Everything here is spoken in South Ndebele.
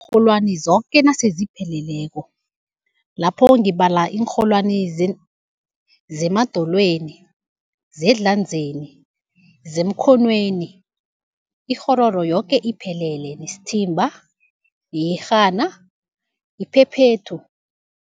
Iinrholwani zoke nasele zipheleleko, lapho ngibala iinrholwani zemadolweni, zezandleni, zemkhonweni, ikghororo yoke iphelele nesithimba, iyerhana, iphephethu.